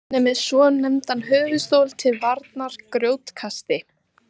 hann er með svonefndan höfuðstól til varnar grjótkasti